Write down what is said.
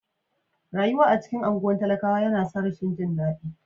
Rayuwa a cikin anguwan talakawa yana sa rashin jin dadi.